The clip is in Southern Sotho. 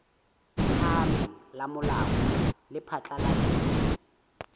phahameng la molao le phatlaladitse